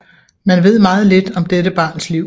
Man ved meget lidt om dette barns liv